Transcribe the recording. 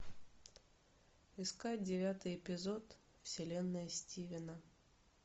искать девятый эпизод вселенная стивена